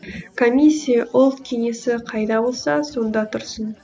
комиссия ұлт кеңесі қайда болса сонда тұрсын